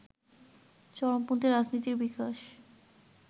চরমপন্থী রাজনীতির বিকাশ